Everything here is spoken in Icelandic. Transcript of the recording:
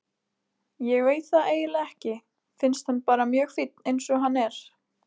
Ég veit það eiginlega ekki, finnst hann bara mjög fínn eins og hann er.